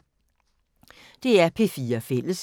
DR P4 Fælles